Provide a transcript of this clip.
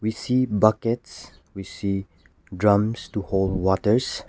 we see buckets we see drums to hold waters.